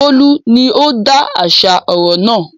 Bólú ni ó ń dáṣà ọ̀rọ̀ náà.